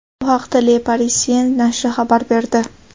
Bu haqda Le Parisien nashri xabar berdi .